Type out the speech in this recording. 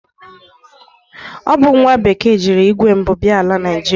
O bu nwa bekee jiri igwe mbu bia ala Naịjịrịa.